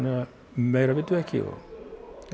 meira vitum við ekki